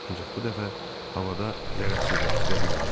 Ancaq bu dəfə havada zərərsizləşdirə bilməmişdilər.